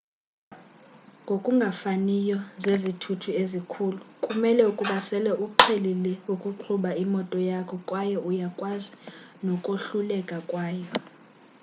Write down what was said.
ngokungafaniyo zezithuthi ezikhulu kumele ukuba sele uqhelile ukuqhuba imoto yakho kwaye uyakwazi nokohluleka kwayo